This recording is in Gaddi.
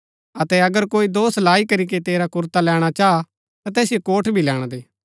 अतै अगर कोई दोष लाई करीके तेरा कुरता लैणा चाह ता तैसिओ कोट भी लैणा दे